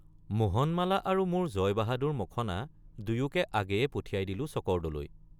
মোহনমালা আৰু মোৰ জয়বাহাদুৰ মখন৷ দুয়োকো আগেয়ে পঠিয়াই দিলোঁ চকৰদলৈ।